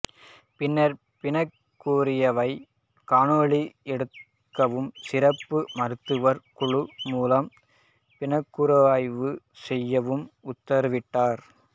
பின்னர் பிணக் கூறாய்வை காணொளி எடுக்கவும் சிறப்பு மருத்துவர் குழு மூலம் பிணக்கூறாய்வு செய்யவும் உத்தரவிட்டார்